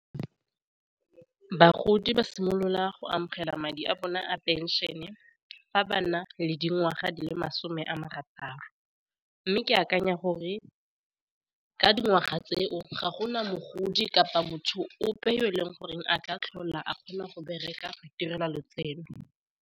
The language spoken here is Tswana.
Bagodi ba simolola go amogela madi a bone a penšion-e fa ba na le dingwaga di le masome a marataro, mme ke akanya gore ka dingwaga tseo ga gona mogodi kapa motho ope yo e leng goreng a tla tlhola a kgona go bereka go itirela lotseno.